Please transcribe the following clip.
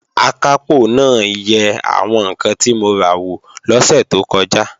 Akápò náà yẹ àwọn ǹkan tí mo ra wò lọ́sẹ̀ tó kọjá